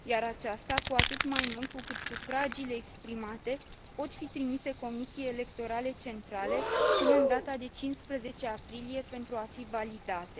aceasta, cu atât mai mult cu cât sufragiile exprimate pot fi trimise Comisiei Electorale Centrale până la data de 15 aprilie pentru a fi validate.